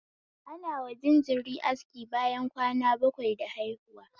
Anawa jajiri aski bayan kwana bakwai da haihuwa